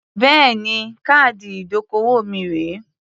Bẹ́ẹ̀ni. Káàdì ìdókòwò mi rèé.